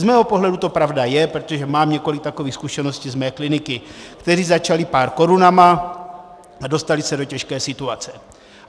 Z mého pohledu to pravda je, protože mám několik takových zkušeností z mé kliniky, které začaly pár korunami, a dostali se do těžké situace.